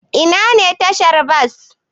Ina ne tashar bas?